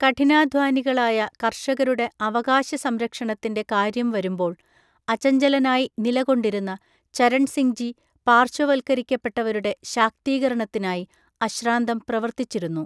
കഠിനാധ്വാനികളായ കർഷകരുടെ അവകാശ സംരക്ഷണത്തിൻ്റെ കാര്യം വരുമ്പോൾ അചഞ്ചലനായി നില കൊണ്ടിരുന്ന ചരൺസിംഗ്ജി പാർശ്വ വത്ക്കരിക്കപ്പെട്ടവരുടെ ശാക്തീകരണത്തിനായി അശ്രാന്തം പ്രവർത്തിച്ചിരുന്നു.